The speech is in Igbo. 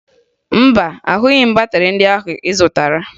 Mba, ahụghị m batịrị ndị ahụ ị zụtara